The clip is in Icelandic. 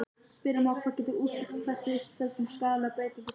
Spyrja má hvað getur útskýrt þessa uppsöfnun skaðlegra breytinga í stofninum.